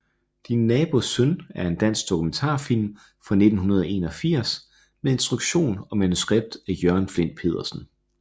Din nabos søn er en dansk dokumentarfilm fra 1981 med instruktion og manuskript af Jørgen Flindt Pedersen